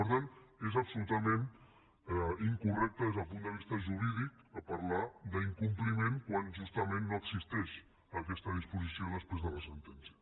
per tant és absolutament incorrecte des del punt de vista jurídic parlar d’incompliment quan justament no existeix aquesta disposició després de la sentència